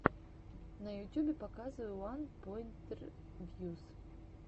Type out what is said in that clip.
на ютюбе показывай уанпоинтревьюс